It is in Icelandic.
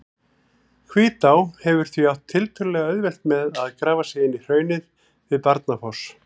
Hvítá hefur því átt tiltölulega auðvelt með að grafa sig inn í hraunið við Barnafoss.